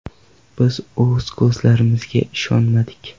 Biz o‘z ko‘zlarimizga ishonmadik.